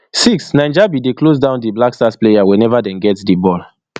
six niger bin dey close down di blackstars players we neva dey get di ball